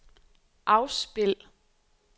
afspil